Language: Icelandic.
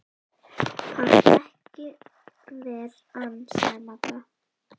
Pant ekki ver ann, sagði Magga.